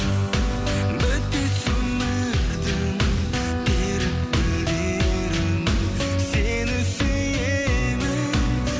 бітпес өмірдің теріп гүлдерін сені сүйемін